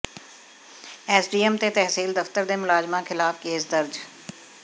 SDM ਤੇ ਤਹਿਸੀਲ ਦਫ਼ਤਰ ਦੇ ਮੁਲਾਜ਼ਮਾਂ ਖ਼ਿਲਾਫ਼ ਕੇਸ ਦਰਜ